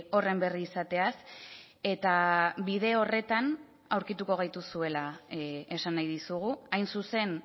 horren berri izateaz eta bide horretan aurkituko gaituzuela esan nahi dizugu hain zuzen